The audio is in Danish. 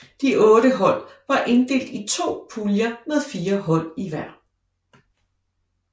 De otte hold var opdelt i to puljer med fire hold i hver